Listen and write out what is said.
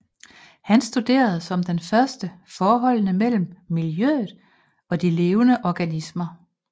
Han studerede som den første forholdene mellem miljøet og de levende organismer